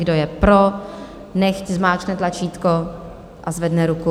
Kdo je pro, nechť zmáčkne tlačítko a zvedne ruku.